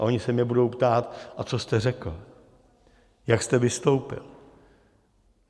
A oni se mě budou ptát: a co jste řekl, jak jste vystoupil?